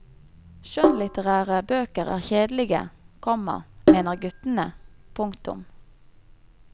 Skjønnlitterære bøker er kjedelige, komma mener guttene. punktum